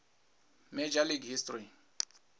major league history